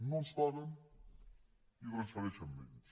no ens paguen i en transfereixen menys